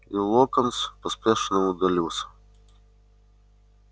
и локонс поспешно удалился